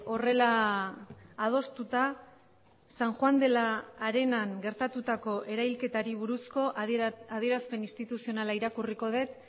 horrela adostuta san juan de la arenan gertatutako erailketari buruzko adierazpen instituzionala irakurriko dut